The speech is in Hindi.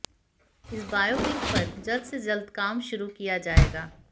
इस बायोपिक पर जल्द से जल्द काम शुरू किया जाएगा